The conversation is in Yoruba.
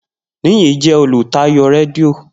Niyi jẹ olutayo redio.